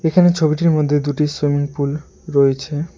এখানে ছবিটির মধ্যে দুটি সুইমিং পুল রয়েছে।